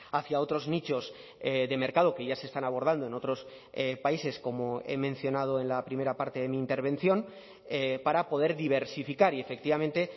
hacia otros nichos de mercado que ya se están abordando en otros países como he mencionado en la primera parte de mi intervención para poder diversificar y efectivamente